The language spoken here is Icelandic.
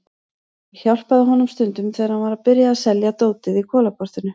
Ég hjálpaði honum stundum þegar hann var að byrja að selja dótið í Kolaportinu.